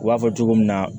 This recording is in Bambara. U b'a fɔ cogo min na